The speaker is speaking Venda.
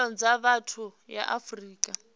pfanelo dza vhathu ya afrika